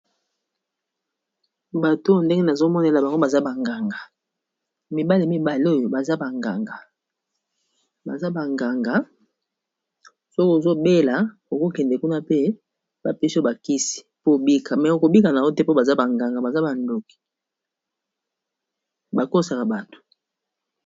Bato oyo ndenge nazomonela bango baza banganga mibale mibale oyo baza baganga baza banganga soki ozobela okokende kuna pe bapeso bakisi pobika me okobika na o te po baza banganga baza bandoki bakosaka bato